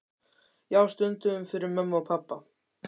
Já, stundum fyrir mömmu og pabba.